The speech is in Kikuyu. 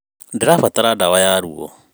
Ndĩrabatara dawa ya rũo